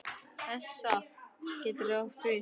ESA getur átt við